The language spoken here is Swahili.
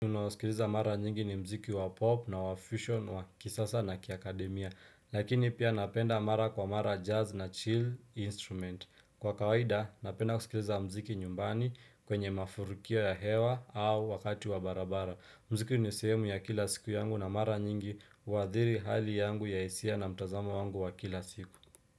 Unao sikiliza mara nyingi ni mziki wa pop na wa fusion wa kisasa na kia akademia lakini pia napenda mara kwa mara jazz na chill instrument kwa kawaida napenda kusikiliza mziki nyumbani kwenye mafurukio ya hewa au wakati wa barabara mziki ni sehemu ya kila siku yangu na mara nyingi waadhiri hali yangu ya hisia na mtazamo wangu wa kila siku.